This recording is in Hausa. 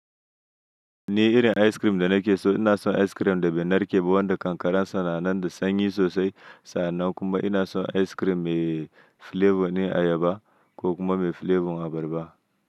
Ni irin ice cream da nake so ina son ice cream da bai narke ba wanda kankaran sa nan da sanyi sosai sa'an nan kuma ina son ice cream mai flavor ne ayaba ko kuma mai flavor abarba.